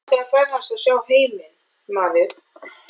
Mig langar að ferðast og sjá heiminn maður.